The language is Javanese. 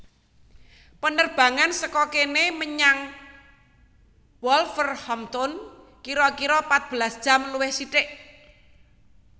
Penerbangan seko kene menyang Wolverhampton kiro kiro patbelas jam luwih sithik